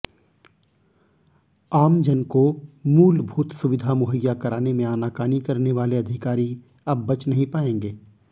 आमजन को मूलभूत सुविधा मुहैया कराने में आनाकानी करने वाले अधिकारी अब बच नहीं पाएंगे